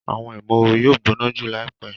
Awọn imooru yóò gbóná jù laipe